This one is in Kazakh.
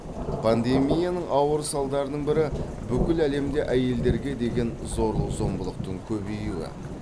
пандемияның ауыр салдарының бірі бүкіл әлемде әйелдерге деген зорлық зомбылықтың көбеюі